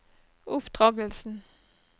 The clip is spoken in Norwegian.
oppdragelsen